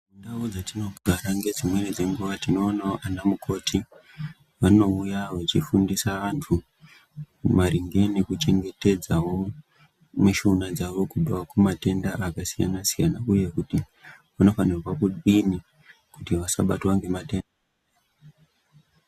Ndau dzatinogara ngedzimweni dzenguwa, tinoonawo anamukoti vanouya vechifundisa vantu maringe neku chengetedzawo mishuna dzawo kubva kumatenda akasiyana siyana uye kuti vanofanirwa kudini kuti vasabatwa ngematenda.